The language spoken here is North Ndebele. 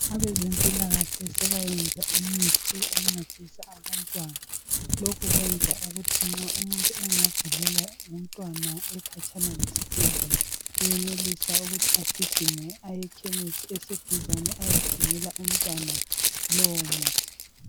Abezempilakahle sebayenza imithi encedisa abantwana. Lokhu kwenza ukuthi nxa umuntu engagulelwa ngumntwana ekhatshana lesibhedlela, uyenelisa ukuthi agijime ayekhemisi eseduzane ayethengela umntwana lowo muthi.